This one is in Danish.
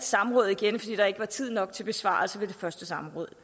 samråd igen fordi der ikke var tid nok til besvarelsen ved det første samråd